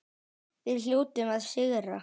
Við hljótum að sigra